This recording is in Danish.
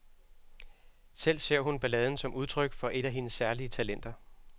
Selv ser hun balladen som udtryk for et af hendes særlige talenter.